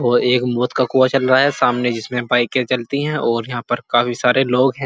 और एक मौत का कुआँ चल रहा है सामने जिसमें बाइके चलती हैं और यहाँ पर काफी सारे लोग हैं।